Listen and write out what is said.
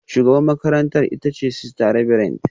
Shugabar makarantara ita ce Sister Reverend